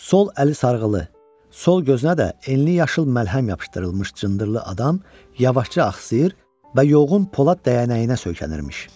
Sol əli sarğılı, sol gözünə də enli yaşıl məlhəm yapışdırılmış cındırlı adam yavaşca axsayır və yoğun Polad dəyənəyinə söykənirmiş.